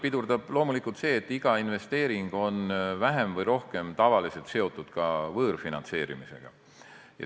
Pidurdab loomulikult see, et iga investeering on vähem või rohkem tavaliselt seotud ka võõrfinantseerimisega.